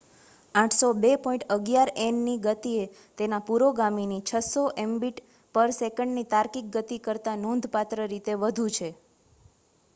802.11n ની ગતિ એ તેના પુરોગામીની 600 એમબીટ/સે. ની તાર્કિક ગતિ કરતા નોંધપાત્ર રીતે વધુ છે